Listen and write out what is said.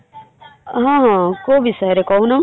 ହଁ କଉ ବିଷୟରେ କହୁନ ।